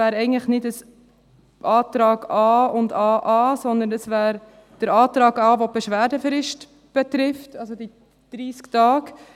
Es wäre eigentlich nicht Antrag a und Antrag aa, sondern es wäre der Antrag a, der die Beschwerdefrist betrifft, also die 30 Tage.